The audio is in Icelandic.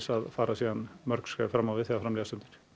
að fara svo mörg skref fram á við þegar fram líða stundir